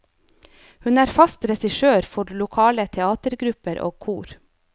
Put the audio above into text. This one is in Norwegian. Hun er fast regissør for lokale teatergrupper og kor.